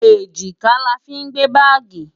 Èjìká la fí ń gbé báàgì.